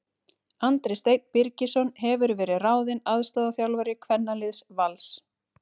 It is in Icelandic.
Andri Steinn Birgisson hefur verið ráðinn aðstoðarþjálfari kvennaliðs Vals.